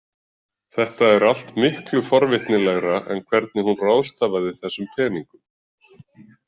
Þetta er allt miklu forvitnilegra en hvernig hún ráðstafaði þessum peningum.